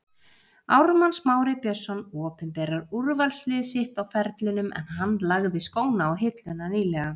Ármann Smári Björnsson opinberar úrvalslið sitt á ferlinum en hann lagði skóna á hilluna nýlega.